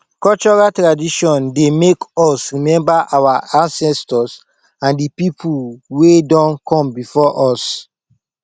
cultural tradition dey make us remember our ancestors and di pipo wey don come before us